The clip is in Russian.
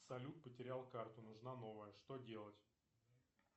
салют потерял карту нужна новая что делать